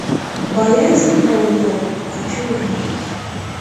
боязнь пауков хочу увидеть